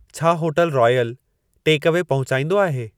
छा होटलु रॉयलु टेकअवे पोहचाईंदो आहे